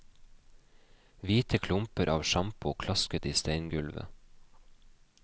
Hvite klumper av sjampo klasket i steingulvet.